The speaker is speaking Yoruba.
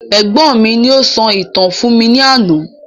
Ẹ̀gbọ́n mi ni o sọ ìtàn fún mi ní àná